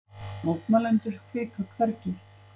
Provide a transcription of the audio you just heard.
Mótmælendur hvika hvergi